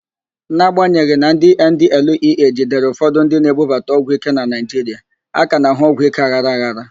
N'agbanyeghị na ndị NDLEA jidere ụfọdụ ndị na-ebubata ọgwụíké na Naịjiria, a ka na-ahụ ọgwụíké aghara aghara.